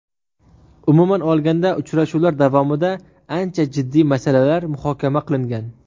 Umuman olganda, uchrashuvlar davomida ancha jiddiy masalalar muhokama qilingan.